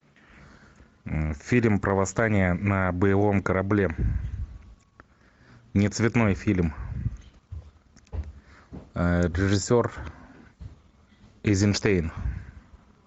фильм про восстание на боевом корабле не цветной фильм режиссер эйзенштейн